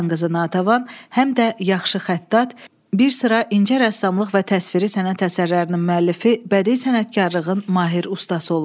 Xan qızı Natəvan həm də yaxşı xəttat, bir sıra incə rəssamlıq və təsviri sənət əsərlərinin müəllifi, bədii sənətkarlığın mahir ustası olub.